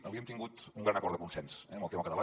avui hem tingut un gran acord de consens eh amb el tema català